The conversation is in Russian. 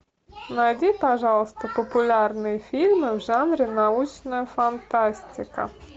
найди пожалуйста популярные фильмы в жанре научная фантастика